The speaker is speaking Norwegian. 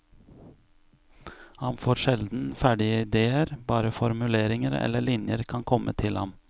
Han får sjelden ferdige idéer, bare formuleringer eller linjer kan komme til ham.